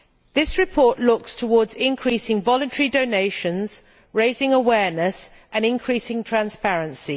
This report looks towards increasing voluntary donations, raising awareness and increasing transparency.